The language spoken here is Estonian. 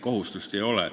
Kohustust ei ole.